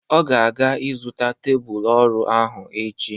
Ọ ga-aga ịzụta tebụl ọrụ ahụ echi.